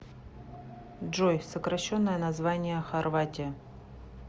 джой сокращенное название хорватия